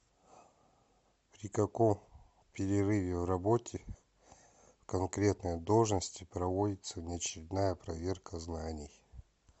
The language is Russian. при каком перерыве в работе в конкретной должности проводится внеочередная проверка знаний